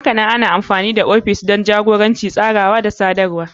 Hakanan ana amfani da ofishi don jagoranci, daidaitawa, tsarawa da sadarwa.